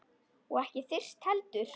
Og ekki þyrst heldur.